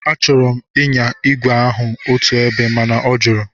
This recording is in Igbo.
Achọrọ m ịnya ígwè kwụ otu ebe mana ọ jụrụ.